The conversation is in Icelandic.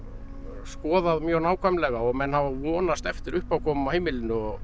skoðað mjög nákvæmlega og menn hafa vonast eftir uppákomum á heimilinu og